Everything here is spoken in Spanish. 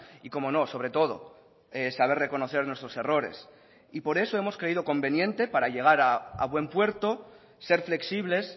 y cómo no sobre todo saber reconocer nuestros errores y por eso hemos creído conveniente para llegar a buen puerto ser flexibles